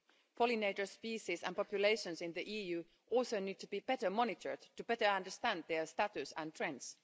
Pollinator species and populations in the EU also need to be better monitored to better understand their status and trends.